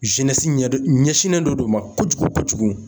zenɛsi ɲɛ don ɲɛsinlen don d'o ma kojugu kojugu